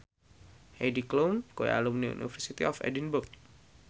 Heidi Klum kuwi alumni University of Edinburgh